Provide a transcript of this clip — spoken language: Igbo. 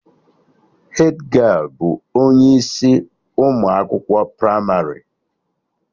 Hedgialụ bụ onye isi ụmụ akwụkwọ pramarị